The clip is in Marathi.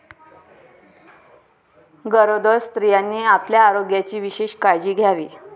गरोदर स्त्रियांनी आपल्या आरोग्याची विशेष काळजी घ्यावी.